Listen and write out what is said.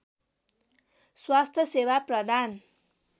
स्वास्थ्य सेवा प्रदान